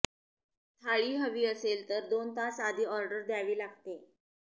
थाळी हवी असेल तर दोन तास आधी ऑर्डर द्यावी लागते